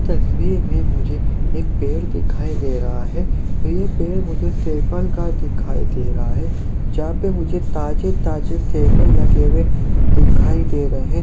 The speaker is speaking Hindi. इस तस्वीर मे मुझे एक पेड़ दिखाई दे रहा है ये पेड़ मुझे सेव फल का दिखाई दे रहा है जहाँ पे मुझे ताजे-ताजे सेव फल लगे हुए दिखाई दे रहे--